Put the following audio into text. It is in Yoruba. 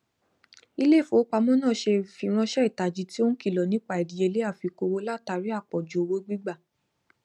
ilé ìfowópamọ náà ṣe ìfiránṣẹ ìtají tí ó n kìlọ nípa ìdíyelé àfikún owó látàrí àpọjù owó gbígbà